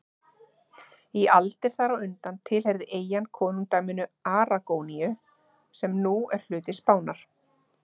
Í aldir þar á undan tilheyrði eyjan konungdæminu Aragóníu sem nú er hluti Spánar.